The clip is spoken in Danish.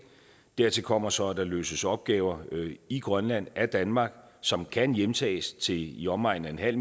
dertil kommer så at der løses opgaver i grønland af danmark som kan hjemtages til i i omegnen af